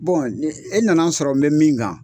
e nana n sɔrɔ n bɛ min kan,